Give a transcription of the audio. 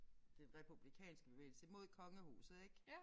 Den republikanske bevægelse mod kongehuset ik